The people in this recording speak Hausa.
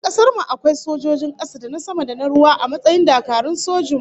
A kasar mu akwai sojojin kasa, da na sama da na ruwa a matsayin dakarun sojin mu